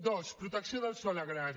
dos protecció del sòl agrari